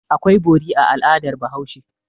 Akwai bori a al'adar Bahaushe.